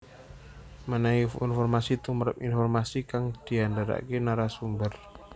Mènèhi informasi tumrap informasi kang diandharaké narasumber